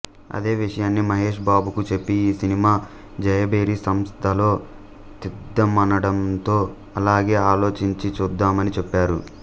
అదే విషయాన్ని మహేష్ బాబుకు చెప్పి ఈ సినిమా జయభేరి సంస్థలో తీద్దామనడంతో అలాగే ఆలోచించి చూద్దామని చెప్పారు